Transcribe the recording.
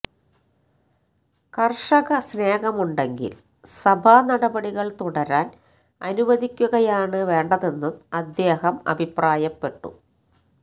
കർഷക സ്നേഹമുണ്ടെങ്കിൽ സഭാ നടപടികൾ തുടരാൻ അനുവദിക്കുകയാണ് വേണ്ടതെന്നും അദ്ദേഹം അഭിപ്രായപ്പെട്ടു